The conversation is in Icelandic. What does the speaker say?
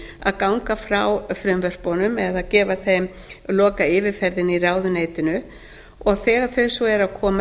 að ganga frá frumvörpunum eða gefa þeim lokayfirferð í ráðuneytinu þegar þau eru svo að koma